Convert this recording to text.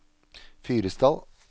Fyresdal